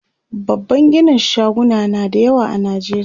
babban ginin shaguna na da yawa a nijeriya